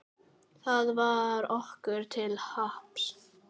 Það varð okkur til happs.